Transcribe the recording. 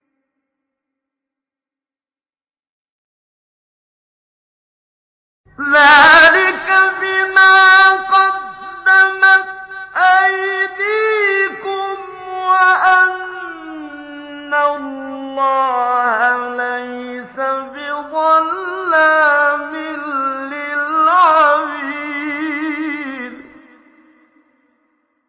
ذَٰلِكَ بِمَا قَدَّمَتْ أَيْدِيكُمْ وَأَنَّ اللَّهَ لَيْسَ بِظَلَّامٍ لِّلْعَبِيدِ